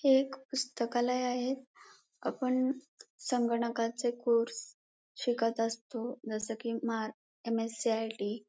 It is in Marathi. हे एक पुस्तकालय आहे आपण संगणकाचे कोर्से शिकत असतो जस कि महा एम.यस.सी.आई.टी --